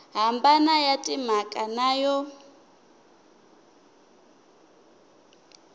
hambana ya timhaka na yo